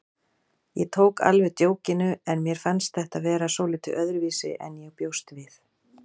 Ég tók alveg djókinu en mér fannst þetta vera svolítið öðruvísi en ég bjóst við.